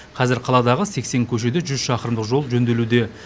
қазір қаладағы сексен көшеде жүз шақырымдық жол жөнделуде